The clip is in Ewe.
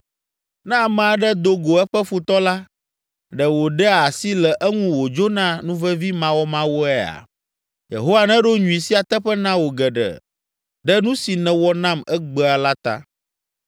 Ne ame aɖe do go eƒe futɔ la, ɖe wòɖea asi le eŋu wòdzona nuvevimawɔmawɔea? Yehowa neɖo nyui sia teƒe na wò geɖe, ɖe nu si nèwɔ nam egbea la ta.